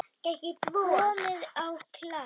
Komið á Klepp?